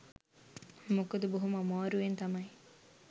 මොකද බොහොම අමාරුවෙන් තමයි